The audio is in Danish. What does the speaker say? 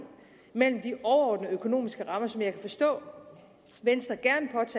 mellem de overordnede økonomiske rammer som jeg kan forstå